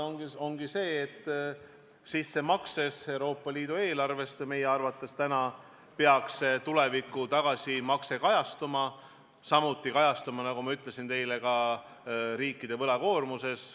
Võimalus ongi see, et Euroopa Liidu eelarvesse tehtavas sissemakses peaks meie arvates täna tuleviku tagasimakse kajastuma, samuti peaks see kajastuma, nagu ma teile ütlesin, ka riikide võlakoormuses.